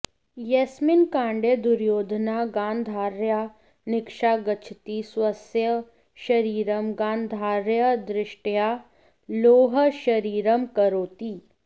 यस्मिन् काण्डे दुर्योधनः गान्धार्याः निकषा गच्छति स्वस्य शरीरम् गान्धार्याः दृष्ट्याः लोहशरीरं करोति